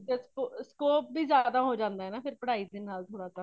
ਤੇ scope ਵੀ ਜਯਦ ਹੋ ਜਾਂਦਾ ਹੇ ਪੜਾਈ ਦੇ ਨਾਲ ਥੋੜਾਜਾ